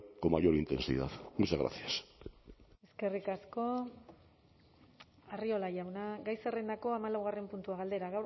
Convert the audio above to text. con mayor intensidad muchas gracias eskerrik asko arriola jauna gai zerrendako hamalaugarren puntua galdera